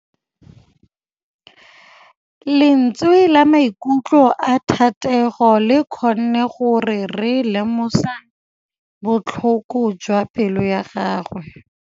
Lentswe la maikutlo a Thategô le kgonne gore re lemosa botlhoko jwa pelô ya gagwe.